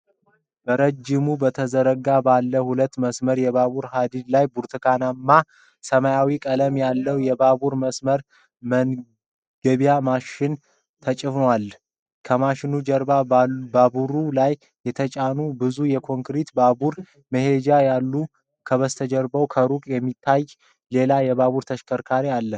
በረጅሙ በተዘረጋው ባለ ሁለት መስመር የባቡር ሀዲድ ላይ ብርቱካናማና ሰማያዊ ቀለም ያለው የባቡር መስመር መገንቢያ ማሽን ተጭኗል። ከማሽኑ ጀርባ ባቡሩ ላይ የተጫኑ ብዙ የኮንክሪት ባቡር መሄጃ ይታያሉ፤ ከበስተጀርባው ከሩቅ የሚታይ ሌላ የባቡር ተሽከርካሪ አለ።